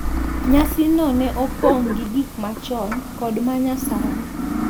Nyasi no ne opong' gi gik machon kod ma nyasani,